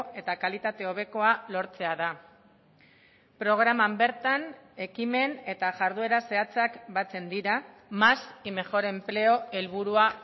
eta kalitate hobekoa lortzea da programan bertan ekimen eta jarduera zehatzak batzen dira más y mejor empleo helburua